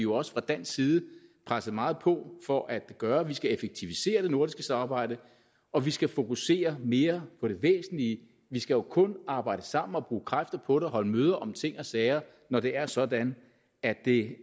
også fra dansk side presset meget på for at gøre det vi skal effektivisere det nordiske samarbejde og vi skal fokusere mere på det væsentlige vi skal jo kun arbejde sammen og bruge kræfter på det og holde møder om ting og sager når det er sådan at det